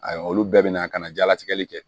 Ayiwa olu bɛɛ be na ka na jalatigɛli kɛ